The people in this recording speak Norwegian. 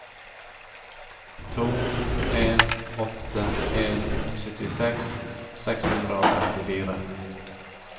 to en åtte en syttiseks seks hundre og trettifire